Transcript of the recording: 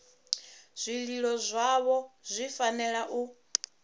zwililo zwavho zwi fanela u